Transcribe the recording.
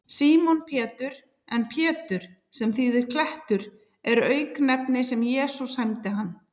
Símon Pétur, en Pétur, sem þýðir klettur, er auknefni sem Jesús sæmdi hann.